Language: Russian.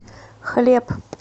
хлеб